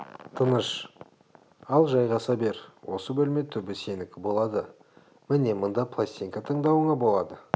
тыныш ал жайғаса бер осы бөлме түбі сенікі болады міне мында пластинка тыңдауыңа болады